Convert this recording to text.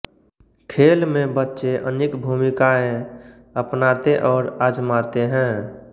खेल में बच्चे अनेक भूमिकाएँ अपनाते और आजमाते हैं